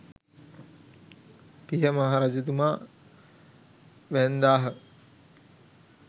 පිය මහ රජතුමා වැන්දාහ.